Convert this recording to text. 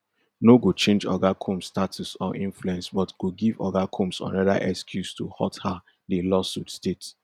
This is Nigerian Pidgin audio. no go change oga combs status or influence but go give oga combs anoda excuse to hurt her di lawsuit state